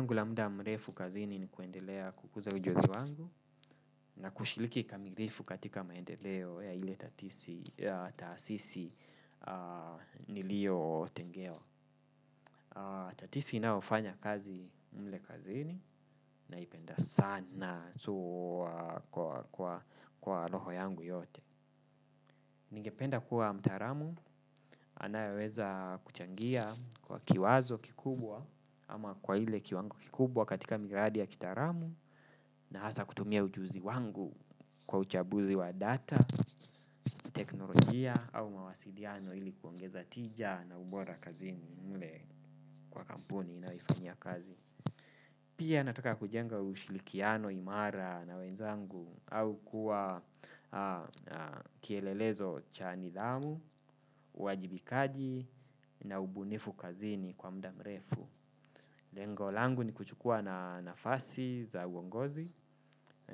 Angu la muda mrefu kazini ni kuendelea kukuza ujuzi wangu na kushiliki kamilifu katika maendeleo ya ile tatisi taasisi nilio tengewa. Tatisi inaofanya kazi mle kazini naipenda sana kwa loho yangu yote. Ningependa kuwa mtaramu anayeweza kuchangia kwa kiwazo kikubwa ama kwa ile kiwango kikubwa katika miradi ya kitaramu na hasa kutumia ujuzi wangu kwa uchabuzi wa data, teknolojia au mawasiliano ili kuongeza tija na ubora kazini mle kwa kampuni nayofanya kazi. Pia nataka kujenga ushilikiano imara na wenzangu au kuwa kielelezo cha nidhamu, wajibikaji na ubunifu kazini kwa mda mrefu. Lengolangu ni kuchukua na nafasi za uongozi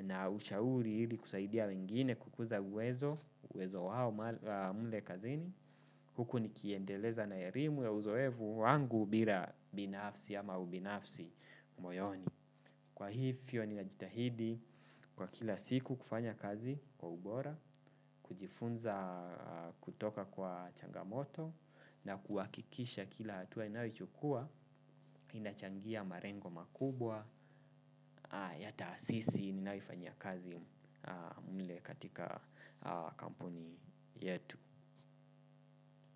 na ushauri ili kusaidia wengine kukuza uwezo, uwezo wao mle kazini. Huku nikiendeleza na erimu ya uzoevu wangu bira binafsi ama ubinafsi moyoni. Kwa hii fio ninajitahidi kwa kila siku kufanya kazi kwa ubora, kujifunza kutoka kwa changamoto na kuwakikisha kila hatua ninayochukua, inachangia marengo makubwa, ya taasisi ninayo ifanyia kazi mle katika kampuni yetu.